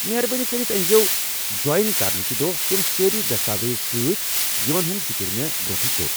مہربٲنی کٔرتھ أنزیٚو جۄین کرنٕکہِ دۄہ تم سٲری دستاویز سۭتۍ یمن ہنٛد ذِکر مےٚ برٛونٛٹھٕے کوٚر۔